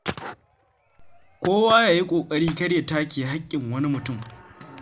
Kowa ya yi ƙoƙari kar ya take haƙƙin wani mutum.